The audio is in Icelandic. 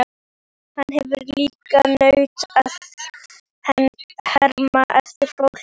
Hann hefur líka nautn af að herma eftir fólki.